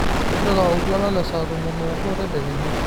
tipika oltuala le saa tomon oobo tedekenya